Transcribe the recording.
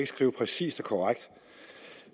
skrive præcist og korrekt